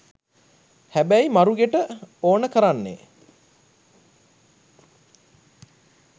හැබැයි මරුගෙට ඕන කරන්නෙ